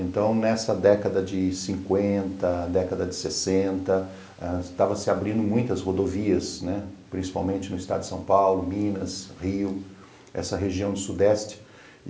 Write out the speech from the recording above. Então, nessa década de cinquenta, década de sessenta, estavam se abrindo muitas rodovias, né, principalmente no estado de São Paulo, Minas, Rio, essa região do sudeste.